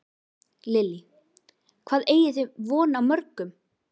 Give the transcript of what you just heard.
Lillý: Hvað eigið þið von á mörgum?